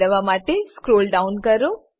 મેળવવા માટે સ્ક્રોલડાઉન કરો